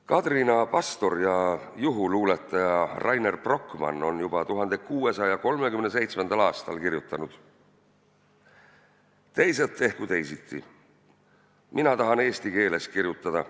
Kadrina pastor ja juhuluuletaja Reiner Brocmann on juba 1637. aastal kirjutanud: "Teised tehku teisiti, mina tahan eesti keeles kirjutada.